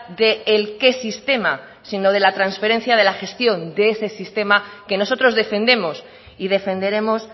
de el qué sistema sino de la transferencia de la gestión de ese sistema que nosotros defendemos y defenderemos